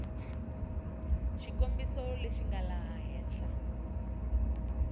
xikombiso lexi nga laha henhla